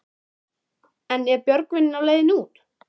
En er Björgvin á leiðinni út?